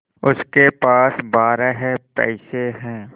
उसके पास बारह पैसे हैं